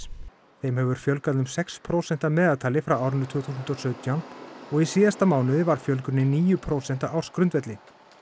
þeim hefur fjölgað um sex prósent að meðaltali frá árinu tvö þúsund og sautján og í síðasta mánuði var fjölgunin níu prósent á ársgrundvelli